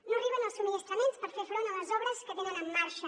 no arriben els subministraments per fer front a les obres que tenen en marxa